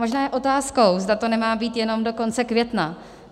Možná je otázkou, zda to nemá být jenom do konce května.